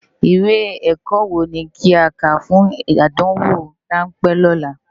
Iwé èkò wó ni ki á ká fún ádánwó ránpè òlá?